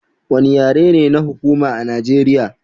Wanne yare ne na hukuma a Nageriya.